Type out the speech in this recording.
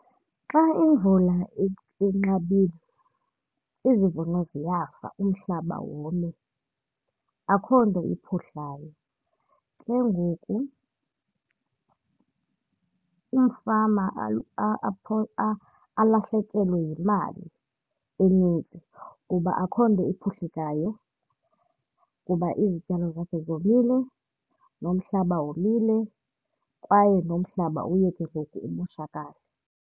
Xa imvula inqabile izivuno ziyafa, umhlaba wome, akho nto iphuhlayo. Ke ngoku umfama alahlekelwe yimali eninzi kuba akukho nto iphuhlekayo kuba izityalo zakhe zomile nomhlaba womile kwaye nomhlaba uye ke ngoku umoshakala.